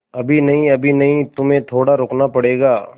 अभी नहीं अभी नहीं तुम्हें थोड़ा रुकना पड़ेगा